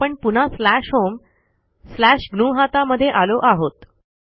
आपण पुन्हा slash home slash ग्नुहता मध्ये आलो आहोत